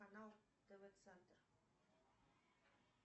канал тв центр